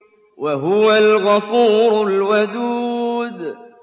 وَهُوَ الْغَفُورُ الْوَدُودُ